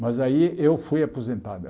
Mas aí eu fui aposentado.